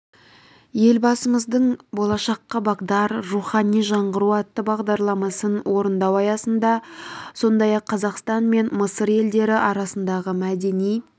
елбасымыздың болашаққа бағдар рухани жаңғыру атты бағдарламасын орындау аясында сондай-ақ қазақстан мен мысыр елдері арасындағы мәдени